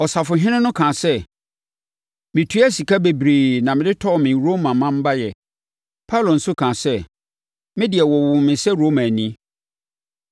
Ɔsafohene no kaa sɛ, “Metuaa sika bebree na mede tɔɔ me Roma manbayɛ.” Paulo nso kaa sɛ, “Me de wɔwoo me sɛ Romani.”